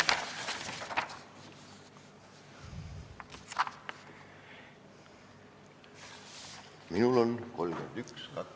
Minul on 31. detsember.